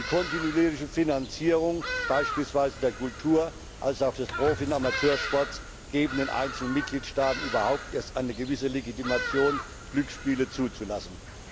Die kontinuierliche Finanzierung, beispielsweise der Kultur und des Profi und Amateursports, gibt den einzelnen Mitgliedstaaten überhaupt erst eine gewisse Legitimation, Glücksspiele zuzulassen.